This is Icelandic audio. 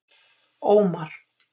Ómar